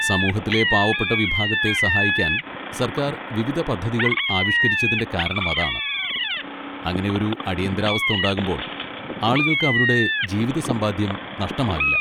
സമൂഹത്തിലെ പാവപ്പെട്ട വിഭാഗത്തെ സഹായിക്കാൻ സർക്കാർ വിവിധ പദ്ധതികൾ ആവിഷ്കരിച്ചതിന്റെ കാരണം അതാണ്, അങ്ങനെ ഒരു അടിയന്തരാവസ്ഥ ഉണ്ടാകുമ്പോൾ, ആളുകൾക്ക് അവരുടെ ജീവിത സമ്പാദ്യം നഷ്ടമാകില്ല.